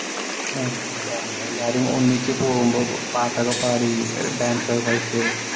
ആഹ് അതാണ്‌. എല്ലാരും ഒന്നിച്ചു പോവുമ്പോ പാട്ടൊക്കെ പാടി ഡാന്‍സ് ഒക്കെ കളിച്ചു